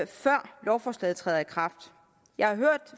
før lovforslaget træder i kraft jeg har hørt